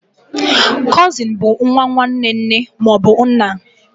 Cụsịn bụ nwa nwanne nne ma ọ bụ nna.